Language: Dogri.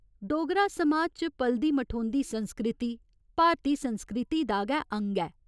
डोगरा समाज च पलदी मठोंदी संस्कृति भारती संस्कृति दा गै अंग ऐ।